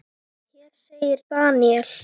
Hér segir Daniel